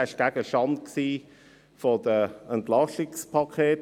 Er war Gegenstand der EP-Massnahmen.